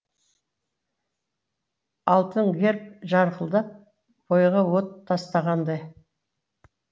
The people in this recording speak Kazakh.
алтын герб жарқылдап бойға от тастағандай